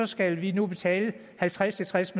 skal vi nu betale halvtreds til tres